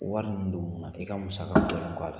Wari munnu don n'u na , e ka musaka ka dɔɔni b'a la .